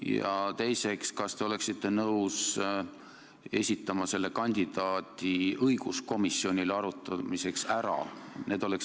Ja teiseks: kas te oleksite nõus selle kandidaadi õiguskomisjonile arutamiseks ära esitama?